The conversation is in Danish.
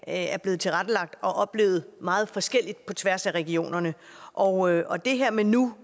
er blevet tilrettelagt og oplevet meget forskelligt på tværs af regionerne og og det her med nu